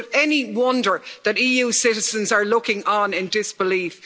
So is it any wonder that EU citizens are looking on in disbelief.